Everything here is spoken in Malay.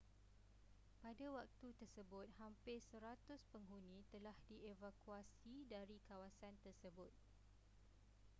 pada waktu tersebut hampir 100 penghuni telah dievakuasi dari kawasan tersebut